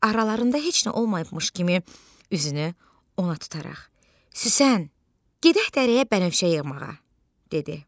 Aralarında heç nə olmayıbmış kimi üzünü ona tutaraq: "Süsən, gedək dərəyə bənövşə yığmağa" dedi.